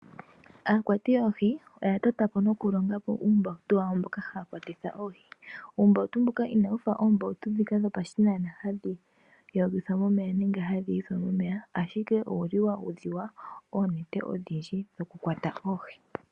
Aakwati yoohi, oya totapo nokulongapo uumbawutu wawo mboka haya kwatitha oohi. Uumbawutu mbuka inawufa oombawutu dhika dhopashinanena hadhi yogithwa momeya nenge hadhi yithwa momeya, ashike owuli wa udhiwa oonete odhindji dhoku kwata oohi.